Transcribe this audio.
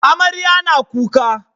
Amarya na kuka